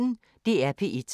DR P1